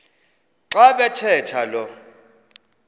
xa bathetha lo